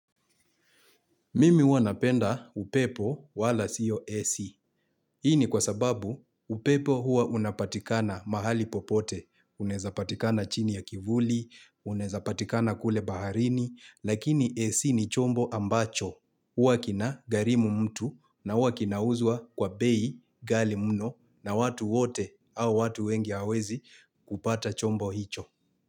Mimi huwa napenda upepo wala siyo AC. Hii ni kwa sababu upepo hua unapatikana mahali popote. Unaezapatikana chini ya kivuli, unezapatikana kule baharini, lakini AC ni chombo ambacho. Hua kina gharimu mtu na hua kina uzwa kwa bei ghali mno na watu wote au watu wengi hawawezi kupata chombo hicho.